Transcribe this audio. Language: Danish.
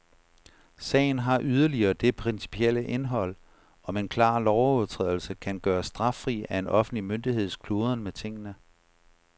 Sagen har yderligere det principielle indhold, om en klar lovovertrædelse kan gøres straffri af en offentlig myndigheds kludren med tingene.